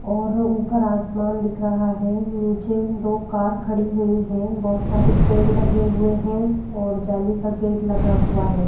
और ऊपर आसमान दिख रहा है नीचे दो कार खड़ी हुई है बहोत सारे पेड़ लगे हुए हैं और जाली का गेट लगा हुआ है।